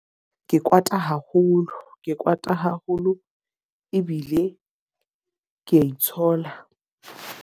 Ke kwata haholo. Ke kwata haholo ebile ke ya itshola.